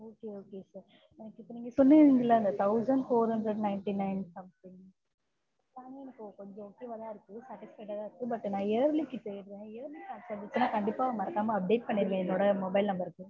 okay okay sir இப்ப சொன்னீங்க இல்லை thousand four hundred ninty nine plan எனக்கு okay வா தான் இருக்கு தான் இருக்கு but நான் yearly க்கு தேடுறேன் yearly pack வந்துச்சுன்னா கண்டிப்பா மறக்காம update பண்ணிருங்க என்னோட mobile number க்கு